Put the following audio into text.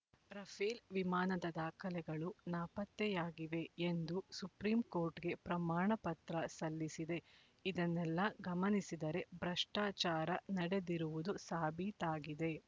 Rafale ವಿಮಾನದ ದಾಖಲೆಗಳು ನಾಪತ್ತೆಯಾಗಿವೆ ಎಂದು ಸುಪ್ರೀಂ ಕೋರ್ಟ್‌ಗೆ ಪ್ರಮಾಣ ಪತ್ರ ಸಲ್ಲಿಸಿದೆ ಇದನ್ನೆಲ್ಲಾ ಗಮನಿಸಿದರೆ ಭ್ರಷ್ಟಾಚಾರ ನಡೆದಿರುವುದು ಸಾಬೀತಾಗಿದೆ